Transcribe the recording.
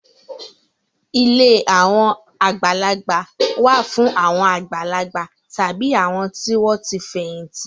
Ilé àwọn àgbàlagbà wà fún àwọn àgbàlagbà tàbí àwọn tí wọ́n ti fẹ̀yìntì.